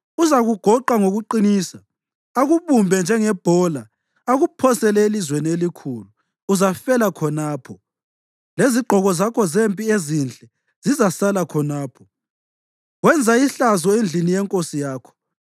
Uzakugoqa ngokuqinisa akubumbe njengebhola akuphosele elizweni elikhulu. Uzafela khonapho. Lezigqoko zakho zempi ezinhle zizasala khonapho, wenza ihlazo endlini yenkosi yakho!